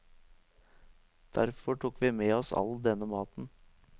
Derfor tok vi med oss all denne maten.